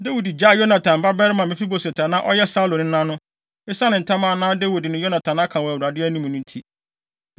Dawid gyaee Yonatan babarima Mefiboset a na ɔyɛ Saulo nena no, esiane ntam a na Dawid ne Yonatan aka wɔ Awurade anim no nti.